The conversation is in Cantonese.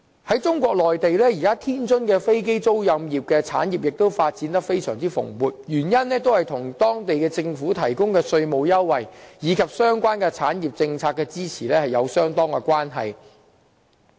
在中國內地，現時天津的飛機租賃產業亦發展得非常蓬勃，原因在於當地政府提供的稅務優惠，以及推行政策支持相關產業。